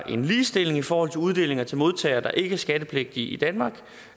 en ligestilling i forhold til uddelinger til modtagere der ikke er skattepligtige i danmark